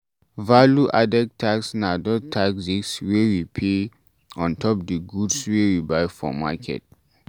Value added tax na those taxes wey we dey pay ontop di goods wey we buy for market ]